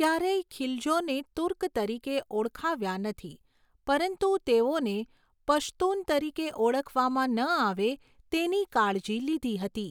ક્યારેય ખિલજોને તુર્ક તરીકે ઓળખાવ્યા નથી, પરંતુ તેઓને પશ્તુન તરીકે ઓળખવામાં ન આવે તેની કાળજી લીધી હતી.